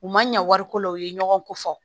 U ma ɲɛ wari ko la u ye ɲɔgɔn ko fɔ